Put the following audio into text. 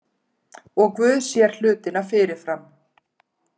Og Guð sér hlutina fyrirfram.